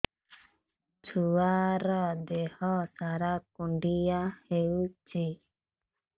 ଛୁଆର୍ ଦିହ ସାରା କୁଣ୍ଡିଆ ହେଇଚି